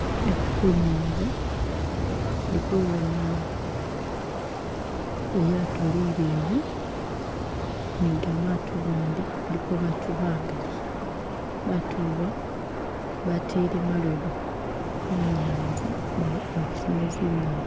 Eku kunyanza indi kubona lyaato lileyi ni ga maato gandi kuliko baatu bagali, baatu ba batele malobo munyanza bafune zinyeni.